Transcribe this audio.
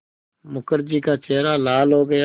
मुखर्जी का चेहरा लाल हो गया